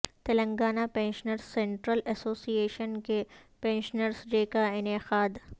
Telangana pensioners central association کے pensioners day کا انعقاد